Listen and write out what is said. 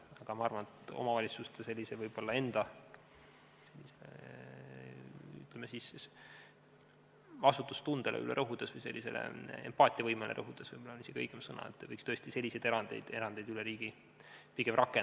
Aga ma arvan, et omavalitsuste enda, ütleme, vastutustundele või empaatiavõimele rõhudes – võib-olla see on isegi õigem sõna – võiks tõesti selliseid erandeid üle riigi rakendada.